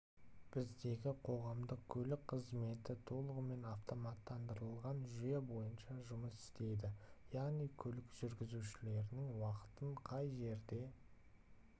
біздегі қоғамдық көлік қызметі толығымен автоматтандырылған жүйе бойынша жұмыс істейді яғни көлік жүргізушілерінің уақытын қай жерде